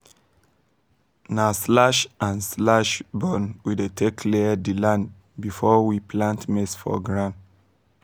na slash-and-burn we take clear the land before we plant maize for ground